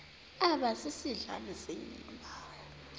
aba sisidl amazimba